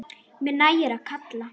Mér nægir að kalla.